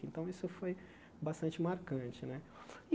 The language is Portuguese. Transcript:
Então, isso foi bastante marcante né e.